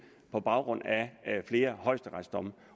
på baggrund af flere højesteretsdomme